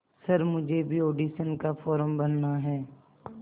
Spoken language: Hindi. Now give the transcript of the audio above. सर मुझे भी ऑडिशन का फॉर्म भरना है